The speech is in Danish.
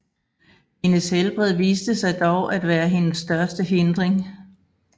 Hendes helbred viste sig dog at være hendes største hindring